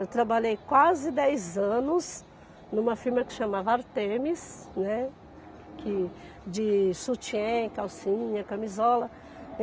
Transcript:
Eu trabalhei quase dez anos numa firma que chamava Artemis, né, que de sutiã, calcinha, camisola.